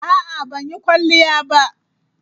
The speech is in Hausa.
A'a, ban yi kwalliya ba.